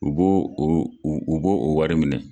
U b'o o wari minɛ.